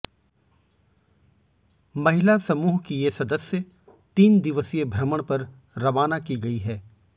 महिला समूह की ये सदस्य तीन दिवसीय भ्रमण पर रवाना की गई है